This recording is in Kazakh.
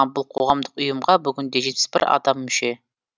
бұл қоғамдық ұйымға бүгінде жетпіс бір адам мүше